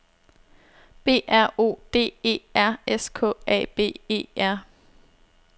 B R O D E R S K A B E R